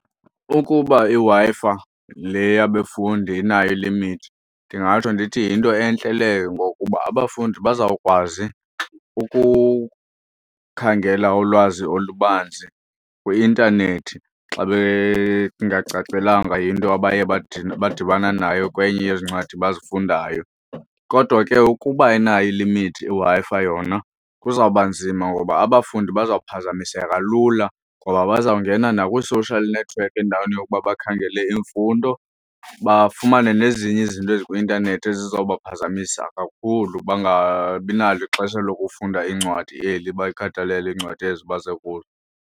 Ukuba iWi-Fi fi le yabefundi inayo ilimithi ndingatsho ndithi yinto entle leyo ngokuba abafundi bazawukwazi ukukhangela ulwazi olubanzi kwi-intanethi xa bengacacelwanga yinto abaye badibana nayo kwenye yezi ncwadi bazifundayo. Kodwa ke ukuba inayo ilimithi iWi-Fi yona kuzawuba nzima ngoba abafundi bazawuphazamiseka lula ngoba bazawungena nakwii-social network endaweni yokuba bakhangele imfundo, bafumane nezinye izinto ezikwi-intanethi ezizawubaphazamisa kakhulu bangabi nalo ixesha lokufunda iincwadi eli, balikhathalele iincwadi ezi baze kuzo.